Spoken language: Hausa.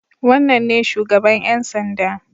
Wannan ne shugaban ƴan sanda.